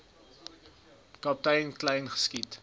kaptein kleyn geskiet